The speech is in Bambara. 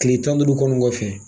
Tile tan ni duuru kɔni kɔfɛ